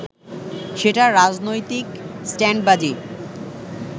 সেটা রাজনৈতিক স্টান্টবাজি